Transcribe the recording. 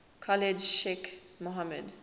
khalid sheikh mohammed